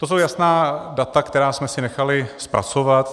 To jsou jasná data, která jsme si nechali zpracovat.